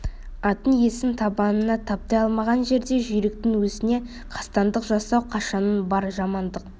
аттың иесін табанына таптай алмаған жерде жүйріктің өзіне қастандық жасау қашаннан бар жамандық